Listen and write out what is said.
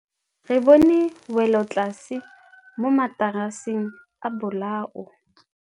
Re bone wêlôtlasê mo mataraseng a bolaô.